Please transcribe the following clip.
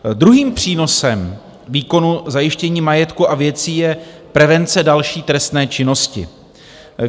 Druhým přínosem výkonu zajištění majetku a věcí je prevence další trestné činnosti.